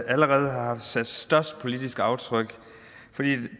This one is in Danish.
allerede har sat størst politisk aftryk fordi